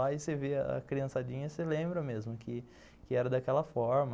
Aí você vê a criançadinha e você lembra mesmo que que era daquela forma.